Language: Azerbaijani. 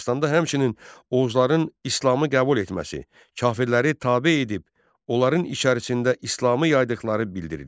Dastanda həmçinin Oğuzların İslamı qəbul etməsi, kafirləri tabe edib, onların içərisində İslamı yaydıqları bildirilir.